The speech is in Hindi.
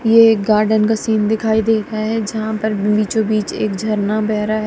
ये एक गार्डन का सीन दिखाई देता है जहां पर बीचों बीच एक झरना बह रहा--